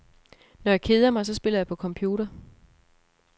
Når jeg keder mig, så spiller jeg på computer.